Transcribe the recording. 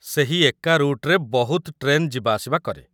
ସେହି ଏକା ରୁଟ୍‌ରେ ବହୁତ ଟ୍ରେନ୍ ଯିବାଆସିବା କରେ ।